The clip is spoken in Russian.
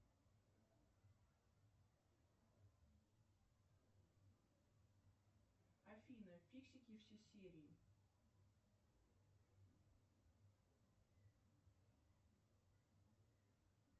афина фиксики все серии